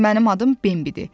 Mənim adım Bembi idi.